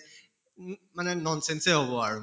মানে nonsense য়ে হʼব আৰু